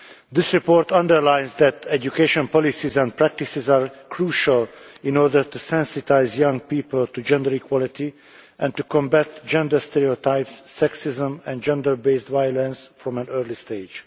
This report underlines that education policies and practices are crucial in order to sensitise young people to gender equality and to combat gender stereotypes, sexism and gender based violence from an early stage.